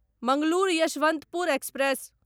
Mangalore Yesvantpur express